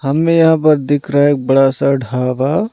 हमें यहां पर दिख रहा है एक बड़ा सा ढाबा--